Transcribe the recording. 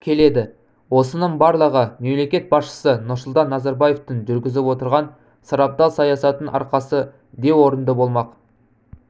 келеді осының барлығы мемлекет басшысы нұрсұлтан назарбаевтың жүргізіп отырған сарабдал саясатының арқасы деу орынды болмақ